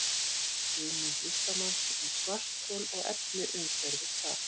hugmynd listamanns um svarthol og efni umhverfis það